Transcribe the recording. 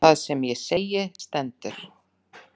Það sem ég segi stendur.